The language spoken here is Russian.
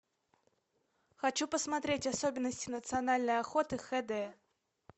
хочу посмотреть особенности национальной охоты хд